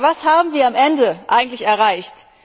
Aber was haben wir am Ende eigentlich erreicht?